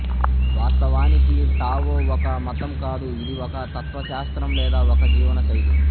వాస్తవానికి టావో ఒక మతం కాదు ఇది ఒక తత్వశాస్త్రం లేదా ఒక జీవనశైలి